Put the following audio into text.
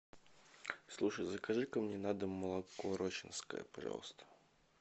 слушай закажи ка мне на дом молоко рощинское пожалуйста